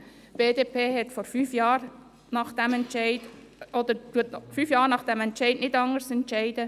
Die BDP entscheidet auch fünf Jahre nach dieser Entscheidung nicht anders.